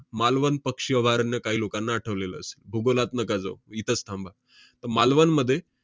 मालवण पक्ष वारनं काही लोकांना आठवलेलं असेल. भूगोलात नका जाऊ, इथंच थांबा. त~ मालवणमध्ये